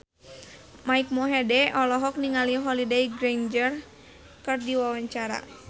Mike Mohede olohok ningali Holliday Grainger keur diwawancara